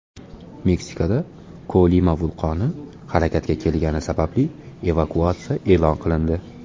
Meksikada Kolima vulqoni harakatga kelgani sababli evakuatsiya e’lon qilindi.